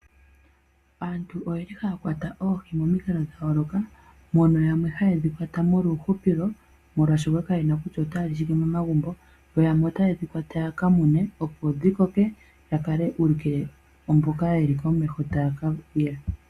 Aantu oyeli haya kwata oohi momikalo dhayoloka. Mono yamwe hayedhi kwata molwa uuhupilo oshoka kayena kutya otaya li shike momagumbo. Yo yamwe otaye dhi kwata yaka mune dhodhi koke. Yaka ulukile mboka yeli komesho taya kaya.